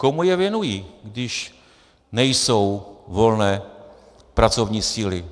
Komu je věnují, když nejsou volné pracovní síly.